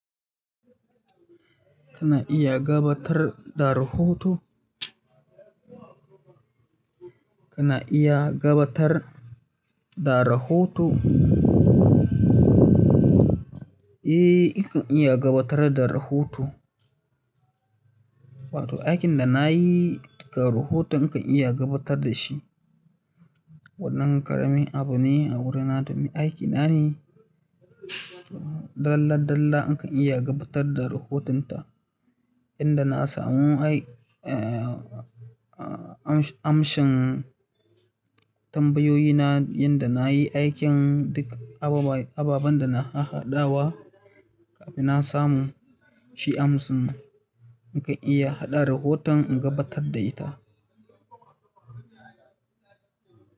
Kana iya gabatar da rahoto? Kana iya gabatar da rahoto? Eh, in kan iya gabatar da rahoto. Wato aikin da nayi rahoto nakan iya gabatar dashi. Wannan ƙaramin abu ne a wurina domin aikina ne. Dalla dalla in kan iya gabatar da rahotonta. Inda na samu ai, eh, amshin tambayoyina, yanda na yi aikin duk ababan da na hahaɗawa kafin na samu shi amsinmu. In kan iya haɗa rahoton in gabatar da ita.